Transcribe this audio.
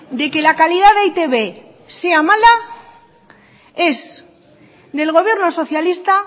de que la calidad de e i te be sea mala es del gobierno socialista